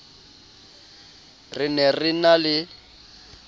re ne re na le